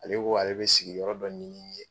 Ale ko ale be sigiyɔrɔ dɔ ɲini n ye